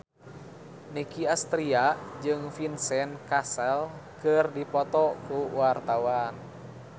Nicky Astria jeung Vincent Cassel keur dipoto ku wartawan